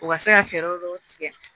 U ka se ka fɛɛrɛ dɔw tigɛ